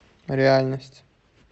реальность